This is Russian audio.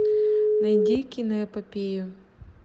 найди киноэпопею